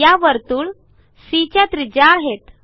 या वर्तुळ सी च्या त्रिज्या आहेत